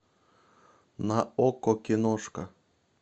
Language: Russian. на окко киношка